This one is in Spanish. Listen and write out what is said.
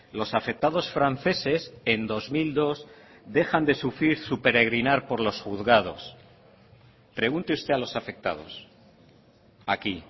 los afectados franceses en dos mil dos dejan de sufrir su peregrinar por los juzgados pregunte usted a los afectados aquí